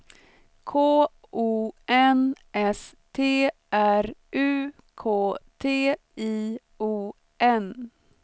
K O N S T R U K T I O N